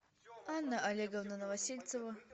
анна олеговна новосельцева